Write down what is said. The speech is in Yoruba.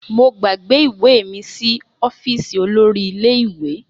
Mo gbàgbé ìwé mi sí ọ́fíìsì olórí ilé ìwé